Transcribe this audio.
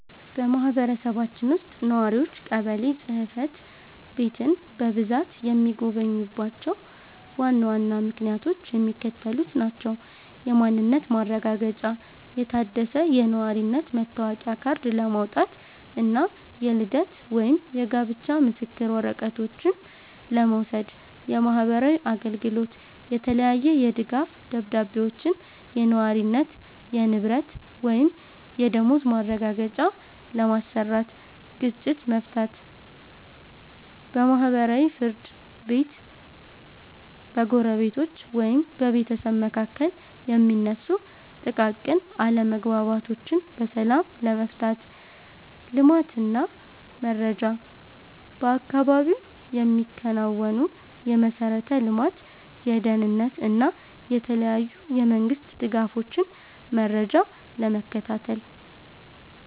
በማህበረሰባችን ውስጥ ነዋሪዎች ቀበሌ ጽሕፈት ቤትን በብዛት የሚጎበኙባቸው ዋና ዋና ምክንያቶች የሚከተሉት ናቸው፦ የማንነት ማረጋገጫ፦ የታደሰ የነዋሪነት መታወቂያ ካርድ ለማውጣት እና የልደት ወይም የጋብቻ ምስክር ወረቀቶችን ለመውሰድ። የማህበራዊ አገልግሎት፦ የተለያየ የድጋፍ ደብዳቤዎችን (የነዋሪነት፣ የንብረት ወይም የደመወዝ ማረጋገጫ) ለማሰራት። ግጭት መፍታት፦ በማህበራዊ ፍርድ ቤት በጎረቤቶች ወይም በቤተሰብ መካከል የሚነሱ ጥቃቅን አለመግባባቶችን በሰላም ለመፍታት። ልማት እና መረጃ፦ በአካባቢው የሚከናወኑ የመሠረተ ልማት፣ የደህንነት እና የተለያዩ የመንግስት ድጋፎችን መረጃ ለመከታተል።